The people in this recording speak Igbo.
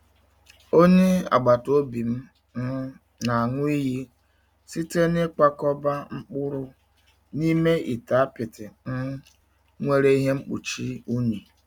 Onye agbata obi m um na-aṅụ iyi site n'ịkwakọba mkpụrụ n'ime ite apịtị um nwere ihe mkpuchi unyi.